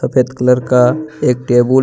सफेद कलर का एक टेबुल --